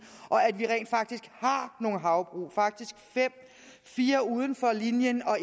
og at vi faktisk har nogle havbrug faktisk fem fire uden for linjen og